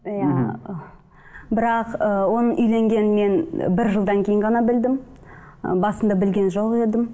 иә ы бірақ ыыы оның үйленгенін мен бір жылдан кейін ғана білдім ы басында білген жоқ едім